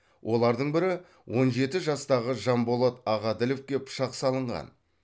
олардың бірі он жеті жастағы жанболат ағаділовке пышақ салынған